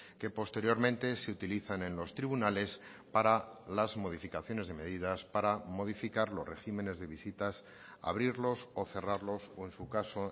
que posteriormente se utilizan en los tribunales para las modificaciones de medidas para modificar los regímenes de visitas abrirlos o cerrarlos o en su caso